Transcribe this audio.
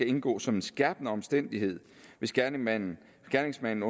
indgå som en skærpende omstændighed hvis gerningsmanden gerningsmanden